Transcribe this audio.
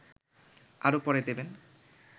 আরও পরে দেবেন